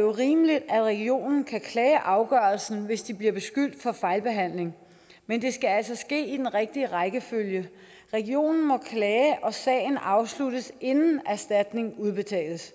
jo rimeligt at regionen kan klage over afgørelsen hvis de bliver beskyldt for fejlbehandling men det skal altså ske i den rigtige rækkefølge regionen må klage og sagen afsluttes inden erstatning udbetales